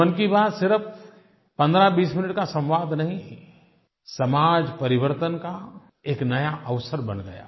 तो मन की बात सिर्फ 1520 मिनट का संवाद नहीं समाजपरिवर्तन का एक नया अवसर बन गया